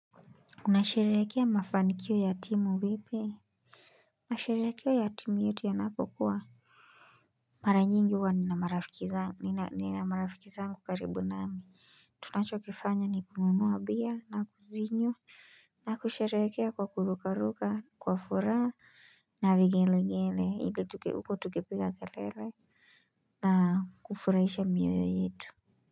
Unasherehekea mafanikio yatimu vipi nasherehekea ya timu yetu ya napokuwa mara nyingi huwa ninamarafiki zangu nina ninamarafiki zangu karibu nami. Tunachokifanya ni kununua beer na kuzinywa na kusherehekea kwa kuruka ruka kwa furaha. Na vigele gele ili huku tukipiga kelele na kufurahisha mioyo yetu.